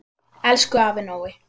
Elsku afi Nói.